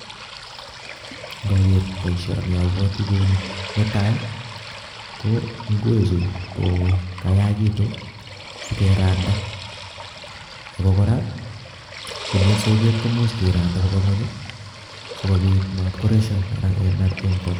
nganger baishani abwatee kouni , netai ko ngwek chu ko kayagituk sigee rendaa ago koraa komis soget koimuch kerandaa kobaa ingwenk sigobik magemak